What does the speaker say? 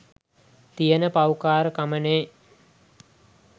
තියෙන පව්කාරකමනේ